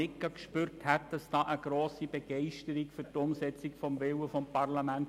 Ich spürte dabei keine grosse Begeisterung für die Umsetzung des Willens des Parlamentes.